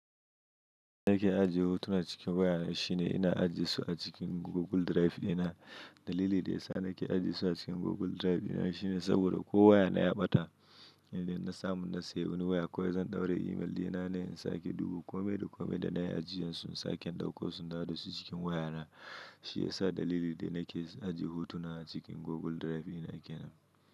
Ina ke ajiye hotuna cikin waya na shine ina ajiye su a cikin Google Drive dina. Dalili da ya sa nake ajiye su a cikin Google Drive dina shine saboda ko waya na ya ɓata in dai na samu na sayi wani waya ko zan ɗaura email dina na in sake ɗuba kome da kome da na yi ajiyan su sake ɗauko su naɗa su cikin waya na. Shi ya sa dalili da nake ajiye hotuna a cikin Google Drive dina kenan.